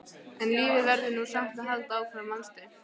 En lífið verður nú samt að halda áfram, manstu!